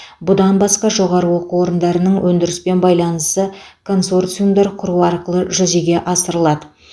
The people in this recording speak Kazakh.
бұдан басқа жоғары оқу орындарының өндіріспен байланысы консорциумдар құру арқылы жүзеге асырылады